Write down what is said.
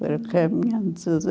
Foram caminhando de